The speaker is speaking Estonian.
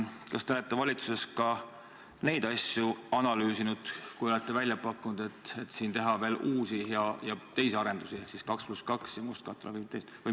Kas te olete valitsuses ka neid asju analüüsinud, kui olete välja pakkunud, et võiks tegelda veel teistegi arendustega ehk 2 + 2 teedega ja mustkatte panemisega.